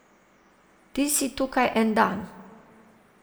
Ti si tukaj en dan.